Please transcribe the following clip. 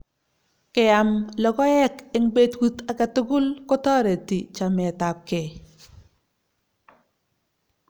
Keam lokoek eng petut age tugul kotoreti chametapkei